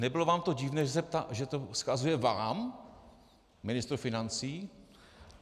Nebylo vám to divné, že to vzkazuje vám, ministru financí?